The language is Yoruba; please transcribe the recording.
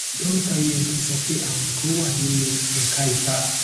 dokita ent sọ pe arun kan wa ninu ẹka ita